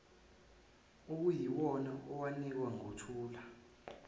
okuyiwona awunikwa nguthula